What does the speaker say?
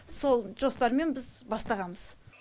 сол жоспармен біз бастағанбыз